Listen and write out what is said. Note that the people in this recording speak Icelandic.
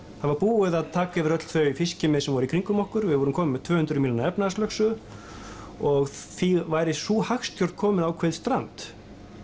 það var búið að taka yfir öll þau fiskimið sem voru í kringum okkur við vorum komin með tvö hundruð mílna efnahagslögsögu og því væri sú hagstjórn komin í ákveðið strand